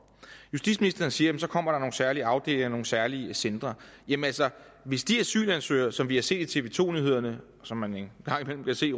justitsministeren siger at der kommer nogle særlige afdelinger nogle særlige centre jamen hvis de asylansøgere som vi har set i tv to nyhederne og som man en gang imellem kan se